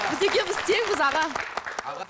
біз екеуміз теңбіз аға